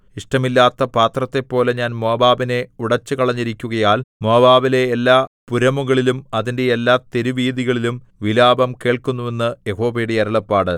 ഇഷ്ടമില്ലാത്ത പാത്രത്തെപ്പോലെ ഞാൻ മോവാബിനെ ഉടച്ചുകളഞ്ഞിരിക്കുകയാൽ മോവാബിലെ എല്ലാ പുരമുകളിലും അതിന്റെ എല്ലാ തെരുവീഥികളിലും വിലാപം കേൾക്കുന്നു എന്ന് യഹോവയുടെ അരുളപ്പാട്